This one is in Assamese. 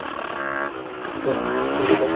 okay বুজিলো